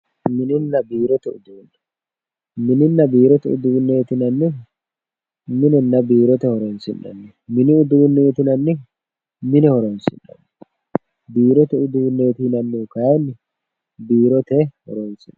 mininna biirote uduunne mininna biirote uduunneeti yinannihu minenna biirote horonsi'nanniho mini uduuneeti yinannihu mine horonsi'nanniho biirote uduunneeti yinannihu kayiinni biirote horonsi'nanniho.